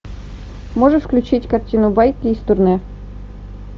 можешь включить картину байки из турне